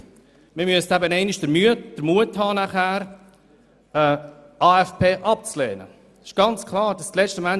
Man müsste danach einmal den Mut haben, einen AFP abzulehnen.